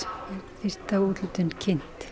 fyrsta úthlutun kynnt